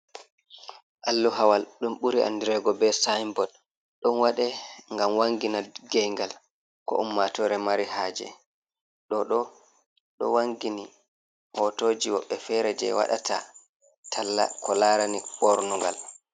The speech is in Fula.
Alluhawal ɗum ɓuri andirego be signboard. Ɗo waɗe ngam wangina nge'ngal ko ummatore mari haje. Ɗo ɗo wangini hotoji woɓɓe fere je waɗata talla ko larani ɓornugal.